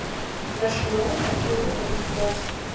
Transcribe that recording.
nasionaal erkende kwalifikasie